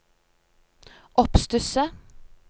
oppstusset